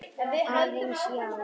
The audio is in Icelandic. Aðeins, já.